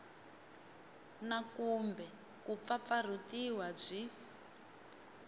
na kumbe ku pfapfarhutiwa byi